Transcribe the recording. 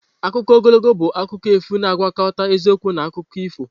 Akụkọ ogologo bụ akụkọ efu na-agwakọta eziokwu na akụkọ ifo.